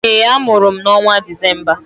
Ee, a mụrụ m n'ọnwa Disemba